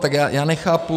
Tak já nechápu -